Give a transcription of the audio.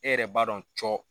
E yɛrɛ b'a dɔn cɔ.